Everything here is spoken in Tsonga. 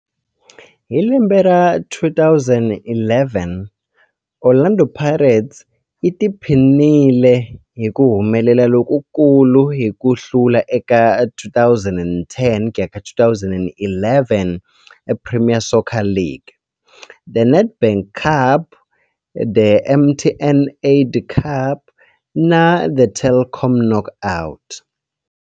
Hi lembe ra 2011, Orlando Pirates yi tiphinile hi ku humelela lokukulu hi ku hlula eka 2010 ku ya ka 2011 Premier Soccer League, The Nedbank Cup, The MTN 8 Cup na The Telkom Knockout.